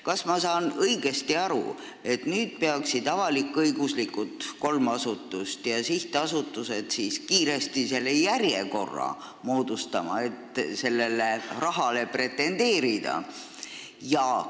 Kas ma sain õigesti aru, et nüüd peaksid kolm avalik-õiguslikku asutust ja kõik sihtasutused kiiresti järjekorra moodustama, et sellele rahale pretendeerida?